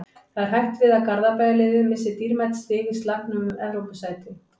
Það er hætt við því að Garðabæjarliðið missi dýrmæt stig í slagnum um Evrópusæti.